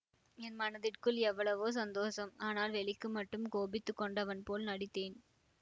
என் மனதிற்குள் எவ்வளவோ சந்தோஷம் ஆனால் வெளிக்கு மட்டும் கோபித்து கொண்டவன் போல் நடித்தேன்